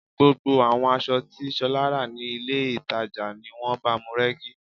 Gbogbo àwọn aṣọ tí Ṣọlá rà ní ilé-ìtàjàni wọ́n báamu rẹ́gí